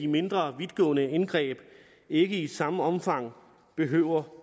mindre vidtgående indgreb ikke i samme omfang behøver